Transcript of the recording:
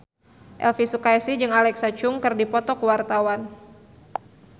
Elvy Sukaesih jeung Alexa Chung keur dipoto ku wartawan